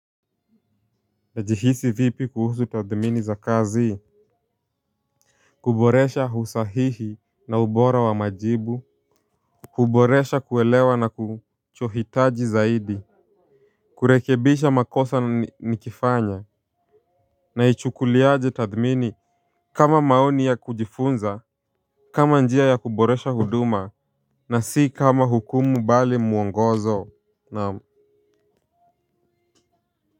Najihisi vipi kuhusu tathmini za kazi. Kuboresha husahihi na ubora wa majibu. Kuboresha kuelewa na kuchohitaji zaidi. Kurekebisha makosa nikifanya. Naichukuliaje tathmini, kama maoni ya kujifunza. Kama njia ya kuboresha huduma. Na si kama hukumu bali mwongozo naam.